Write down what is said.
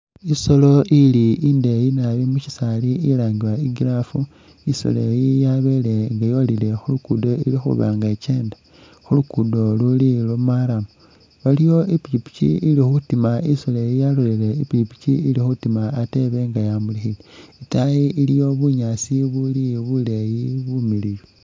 Isoolo ili imdeeyi nabi nga ili musyisaali ilangibwa i'girraffe isolo iyi yabele nga yolile khu lugudo ili khuba nga ikeenda khu luguudo luli lwa marram. Waliwo i'pikipiki ili khutima isoolo eyi yalolelele i'pikipiki ili khutima ate ine nga yamulikhile, itaayi iliyo bunyaasi ubuli buleeyi bumiliyu.